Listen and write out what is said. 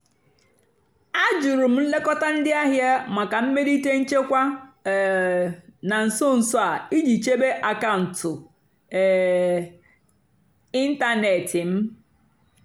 àjụ́rụ́ m nlékótá ndí àhìá màkà mmèlíté nchèkwà um nà nsó nsó á ìjì chèbé àkàụ́ntụ́ um ị́ntánètị́ m.